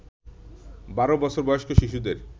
বারো বছর বয়স্ক শিশুদের